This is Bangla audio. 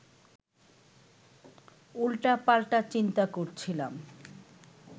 উল্টাপাল্টা চিন্তা করছিলাম